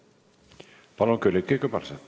Palun, Külliki Kübarsepp!